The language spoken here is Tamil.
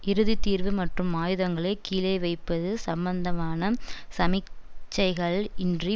இறுதி தீர்வு மற்றும்மாயுதங்களைக் கீழ வைப்பது சம்பந்தமான சமிக்சைகள் இன்றி